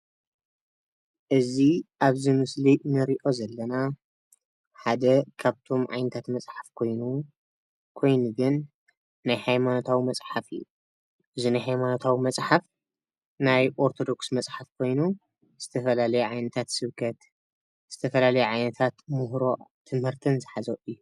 እዚ አብዚ ምስሊ እንርእዮ ዘለና ሓደ ካብቶም ዓይነታት መፅሓፍ ኮይኑ ኮይኑ ግን ናይ ሃይማነታዊ መፅሓፍ እዪ ። እዚ ናይ ሃይማነታዊ መፅሓፍ ናይ ኦርቶዶክስ መፅሓፍ ኮይኑ ዝተፈላለየ ዓይነታት ሰብከት ዝተፈላለየ ዓይነታት ምህሮ ትምህርትን ዝሓዘ እዪ ።